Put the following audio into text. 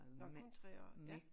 Nåh kun 3 år ja